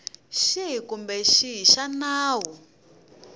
xihi kumbe xihi xa nawu